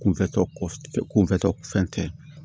Kunfɛ tɔ kunfɛtɔ fɛn tɛ